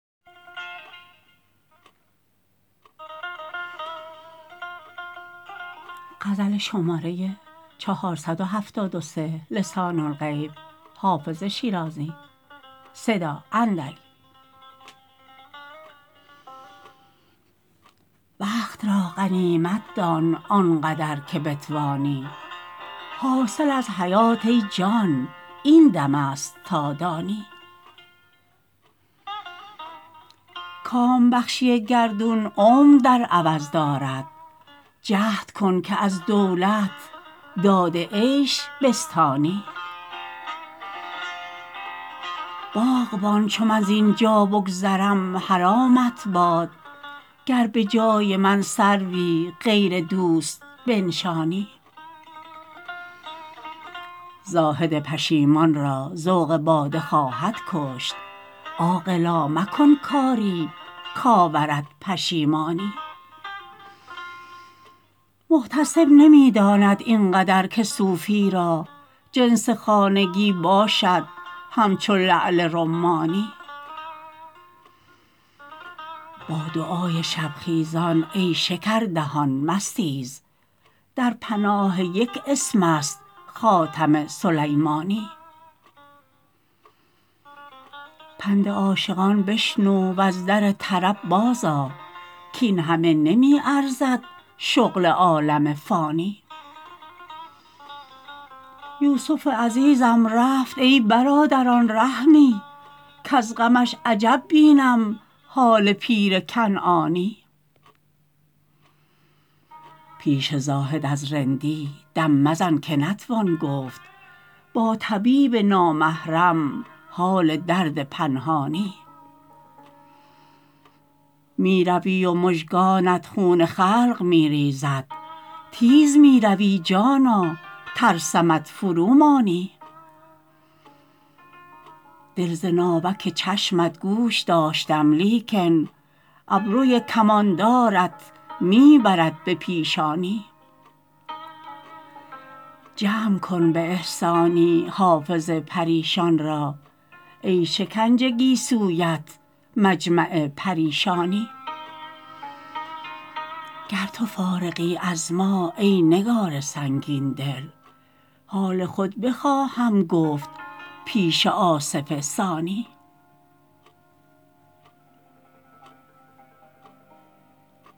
وقت را غنیمت دان آن قدر که بتوانی حاصل از حیات ای جان این دم است تا دانی کام بخشی گردون عمر در عوض دارد جهد کن که از دولت داد عیش بستانی باغبان چو من زین جا بگذرم حرامت باد گر به جای من سروی غیر دوست بنشانی زاهد پشیمان را ذوق باده خواهد کشت عاقلا مکن کاری کآورد پشیمانی محتسب نمی داند این قدر که صوفی را جنس خانگی باشد همچو لعل رمانی با دعای شب خیزان ای شکردهان مستیز در پناه یک اسم است خاتم سلیمانی پند عاشقان بشنو و از در طرب بازآ کاین همه نمی ارزد شغل عالم فانی یوسف عزیزم رفت ای برادران رحمی کز غمش عجب بینم حال پیر کنعانی پیش زاهد از رندی دم مزن که نتوان گفت با طبیب نامحرم حال درد پنهانی می روی و مژگانت خون خلق می ریزد تیز می روی جانا ترسمت فرومانی دل ز ناوک چشمت گوش داشتم لیکن ابروی کماندارت می برد به پیشانی جمع کن به احسانی حافظ پریشان را ای شکنج گیسویت مجمع پریشانی گر تو فارغی از ما ای نگار سنگین دل حال خود بخواهم گفت پیش آصف ثانی